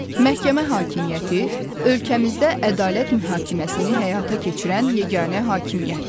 Məhkəmə hakimiyyəti ölkəmizdə ədalət mühakiməsini həyata keçirən yeganə hakimiyyətdir.